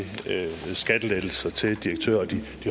skattelettelser til direktører og de